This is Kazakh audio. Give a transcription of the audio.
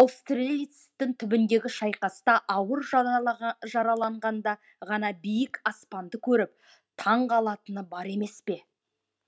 аустерлицтің түбіндегі шайқаста ауыр жараланғанда ғана биік аспанды көріп таң қалатыны бар емес пе